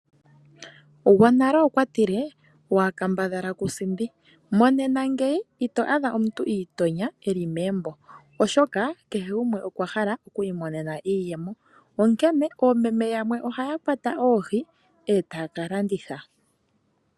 Gwonale okwa tile waa kambadhala ku sindi. Monena ngeyi ito adha omuntu I itonya e li megumbo oshoka kehe gumwe okwa hala oku I monena iimaliwa onkene oomeme yamwe ohaya kwata oohi e taya ka landitha.